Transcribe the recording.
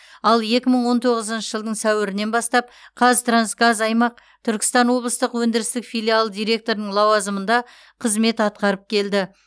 ал екі мың он тоғызыншы жылдың сәуірінен бастап қазтрансгаз аймақ түркістан облыстық өндірістік филиалы директорының лауазымында қызмет атқарып келді